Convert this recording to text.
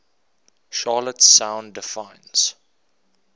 charlotte sound defines